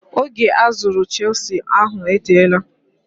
Oge azụrụ chisụl ahụ eteela.